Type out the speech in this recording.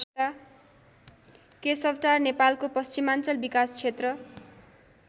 केशवटार नेपालको पश्चिमाञ्चल विकास क्षेत्र